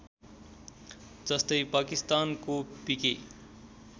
जस्तै पाकिस्तानको पिके